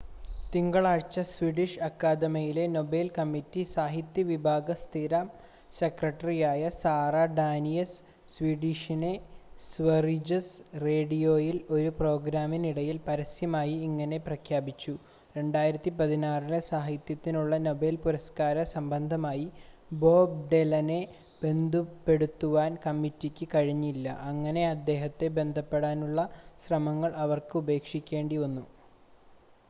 തിങ്കളാഴ്ച സ്വീഡിഷ് അക്കാഡമിയിലെ Nobel committee സാഹിത്യ വിഭാഗ സ്ഥിരം സെക്രട്ടറിയായ സാറ ഡാനിയസ്, സ്വീഡനിലെ സ്വറിജസ് റേഡിയോയിൽ ഒരു പ്രോഗ്രാമിനിടയിൽ പരസ്യമായി ഇങ്ങനെ പ്രഖ്യാപിച്ചു,2016 ലെ സാഹിത്യത്തിനുള്ള നോബെൽ പുരസ്ക്കാര സംബന്ധമായി ബോബ് ഡൈലനെ ബന്ധപ്പെടുവാൻ കമ്മിറ്റിക്ക് കഴിഞ്ഞില്ല, അങ്ങനെ അദ്ദേഹത്തെ ബന്ധപ്പെടാനുള്ള ശ്രമങ്ങൾ അവർക്ക് ഉപേക്ഷിക്കേണ്ടിവന്നു